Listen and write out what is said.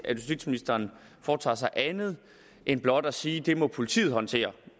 at justitsministeren foretager sig andet end blot at sige at det må politiet håndtere